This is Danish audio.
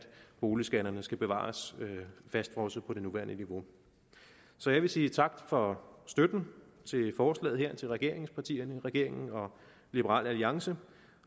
boligskatterne skal bevares fastfrosset på det nuværende niveau så jeg vil sige tak for støtten til forslaget her til regeringspartierne regeringen og liberal alliance